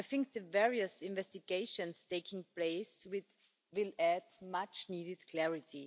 The various investigations taking place will add much needed clarity.